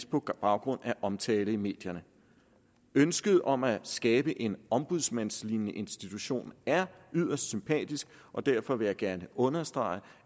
på baggrund af omtale i medierne ønsket om at skabe en ombudsmandslignende institution er yderst sympatisk og derfor vil jeg gerne understrege